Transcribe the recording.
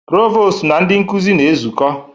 Provọ́stụ na ndị nkuzi na-ezukọ.